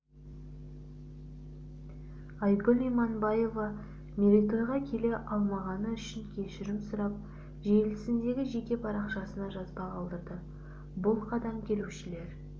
айгүл иманбаева мерейтойға келе алмағаны үшін кешірім сұрап желісіндегі жеке парақшасына жазба қалдырды бұл қадам келушілер